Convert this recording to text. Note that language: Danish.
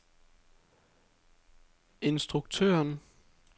instruktøren